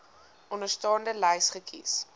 onderstaande lys kies